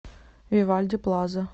вивальди плаза